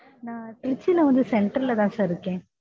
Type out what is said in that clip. நான் திருச்சில வந்து central ல தான் sir இருக்கேன்